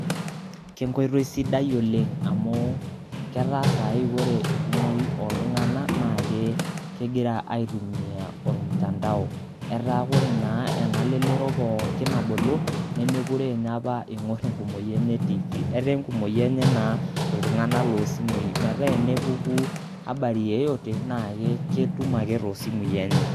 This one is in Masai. Kenkoitoi sidai oleng' amu ketaa saai kore enkumoi oltung'anak, naake kegira aitumia ormutandao. Etaa kore naa ena lelero pooki nabulu nemekure inye ing'or enkumoi enye Tv. Etaa enkumoi enye iltung'anak loo simui metaa enepuku habari yeyote, naa ketum ake too simui enye.